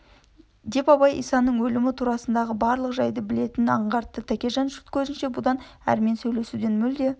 деп абай исаның өлімі турасындағы барлық жайды білетінін аңғарты тәкежан жұрт көзінше бұдан әрмен сейлесуден мүлде